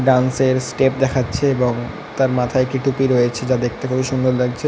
Dance এর step দেখাচ্ছে এবং তার মাথায় একটি টুপি রয়েছে যা দেখতে খুবই সুন্দর লাগছে।